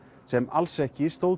sem alls ekki